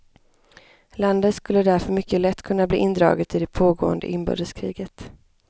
Landet skulle därför mycket lätt kunna bli indraget i det pågående inbördeskriget.